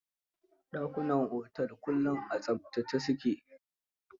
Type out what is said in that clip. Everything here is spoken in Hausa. Dakunan otel kullum a tsaftace su ke.